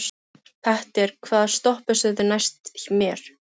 Petter, hvaða stoppistöð er næst mér?